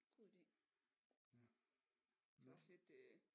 God idé det er også lidt øh